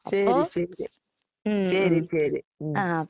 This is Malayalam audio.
ശെരി ശെരിയാ. ശെരി ശെരി ഉം.